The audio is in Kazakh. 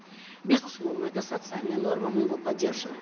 безусловно это социальная норма мы ее поддерживаем